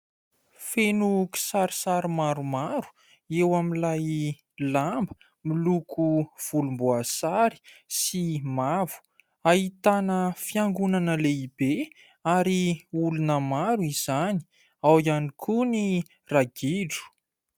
Feno kisarisary maromaro eo amin'ilay lamba miloko vonimboasary sy mavo ahitana fiangonana lehibe ary olona maro izany ao koa ny ragidro